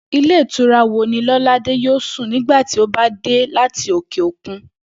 Ilé ìtura wo ni Ló̩ládé yóò sùn nígbà tí ó bá dé láti òkè òkun?